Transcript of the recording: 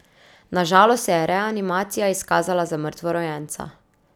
Na žalost se je reanimacija izkazala za mrtvorojenca.